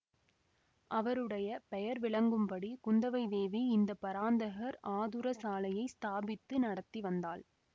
அவருடைய பெயர் விளங்கும்படி குந்தவை தேவி இந்த பராந்தகர் ஆதுரசாலையை ஸ்தாபித்து நடத்தி வந்தாள்